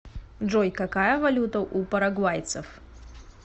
джой какая валюта у парагвайцев